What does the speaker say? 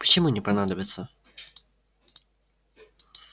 почему не понадобится